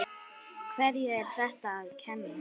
Hverjum er þetta að kenna?